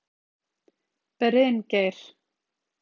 Bryngeir